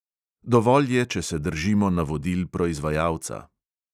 Dovolj je, če se držimo navodil proizvajalca.